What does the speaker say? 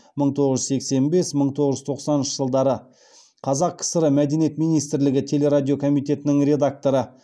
мың тоғыз жүз сексен бес мың тоғыз жүз тоқсаныншы жылдары қазақ кср мәдениет министрлігі телерадио комитетінің редакторы